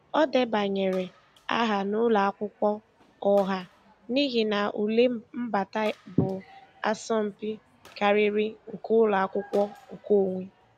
O debanyere aha n'ụlọ akwụkwọ ọha n'ihi na ule mbata bụ asọmpi karịrị nke ụlọ akwụkwọ nkeonwe.